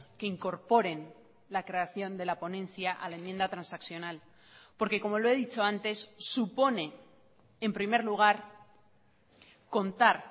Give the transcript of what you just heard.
que incorporen la creación de la ponencia a la enmienda transaccional porque como lo he dicho antes supone en primer lugar contar